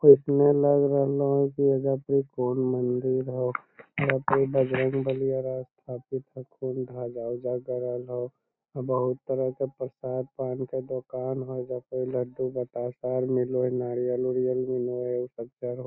लग रहलो हेय की एजा पर इ कोन मंदिर होअ एजा पर इ बजरंगबली स्थापित हअ कोन ध्वजा ऊजा गड़ल हअ बहुत तरह के प्रसाद पान के दुकान हअ एजा पर इ लड्डू बताशा आर मिले होअ नारियल उरियल मिलो हअ उ सब चढ़ --